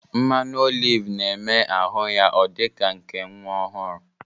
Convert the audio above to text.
Mmanụ olive na-eme ahụ ya ọ dị ka nke nwa ọhụrụ